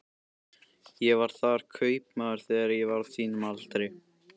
Ég var þar kaupmaður þegar ég var á þínum aldri.